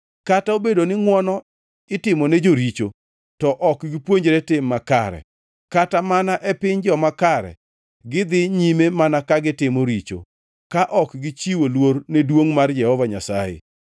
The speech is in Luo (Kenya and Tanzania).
Kata obedo ni ngʼwono itimone joricho, to ok gipuonjore tim makare; kata mana e piny joma kare gidhi nyime mana ka gitimo richo, ka ok gichiwo luor ne duongʼ mar Jehova Nyasaye.